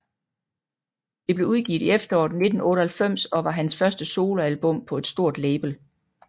Det blev udgivet i efteråret 1998 og var hans første soloalbum på et stort label